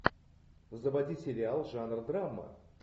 заводи сериал жанр драма